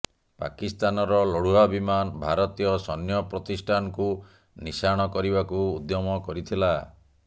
ପାକିସ୍ତାନର ଲଢୁଆ ବିମାନ ଭାରତୀୟ ସୈନ୍ୟ ପ୍ରତିଷ୍ଠାନକୁ ନିଶାଣ କରିବାକୁ ଉଦ୍ୟମ କରିଥିଲା